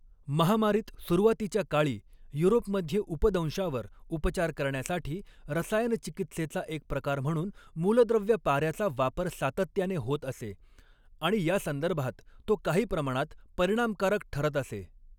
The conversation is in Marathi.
महामारीत सुरुवातीच्या काळी युरोपमध्ये उपदंशावर उपचार करण्यासाठी, रसायनचिकित्सेचा एक प्रकार म्हणून मूलद्रव्य पाऱ्याचा वापर सातत्याने होत असे आणि यासंदर्भात तो काही प्रमाणात परिणामकारक ठरत असे.